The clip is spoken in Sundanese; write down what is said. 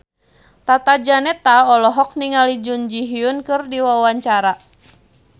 Tata Janeta olohok ningali Jun Ji Hyun keur diwawancara